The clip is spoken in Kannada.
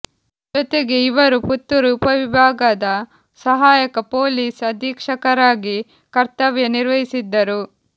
ಜೊತೆಗೆ ಇವರು ಪುತ್ತೂರು ಉಪವಿಭಾಗದ ಸಹಾಯಕ ಪೋಲೀಸ್ ಅಧೀಕ್ಷಕರಾಗಿ ಕರ್ತವ್ಯ ನಿರ್ವಹಿಸಿದ್ದರು